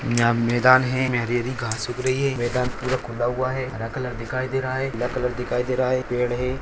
यह मैदान है। इसमें हरी-हरी घांस उग रही है। मैदान पूरा खुला हुआ है। नीला कलर दिखाई दे रहा है। पीला कलर दिखाई दे रहा है। पेड़ है।